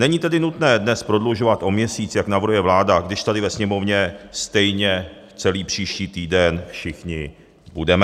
Není tedy nutné dnes prodlužovat o měsíc, jak navrhuje vláda, když tady ve Sněmovně stejně celý příští týden všichni budeme.